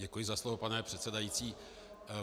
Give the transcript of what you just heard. Děkuji za slovo, pane předsedající.